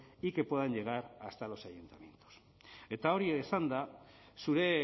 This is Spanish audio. y que puedan llegar hasta los ayuntamientos eta hori esanda zure